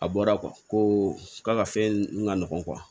A bɔra ko ka fɛn ŋa nɔgɔn